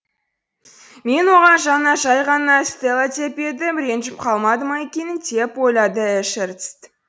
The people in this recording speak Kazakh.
мен оған жаңа жай ғана стелла деп едім ренжіп қалмады ма екен деп ойлады эшерст